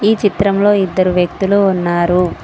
ఈ చిత్రంలో ఇద్దరు వ్యక్తులు ఉన్నారు.